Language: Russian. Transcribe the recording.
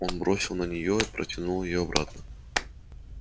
он бросил на нее равнодушный взгляд и улыбаясь протянул её обратно